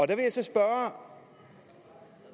der vil jeg så spørge